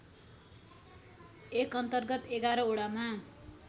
एकअन्तर्गत ११ वडामा